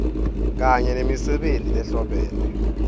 kanye nemisebenti lehlobene